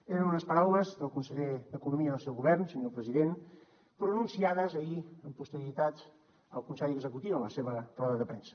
eren unes paraules del conseller d’economia del seu govern senyor president pronunciades ahir amb posterioritat al consell executiu en la seva roda de premsa